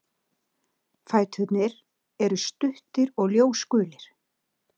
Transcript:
Fæturnir eru stuttir og ljósgulir.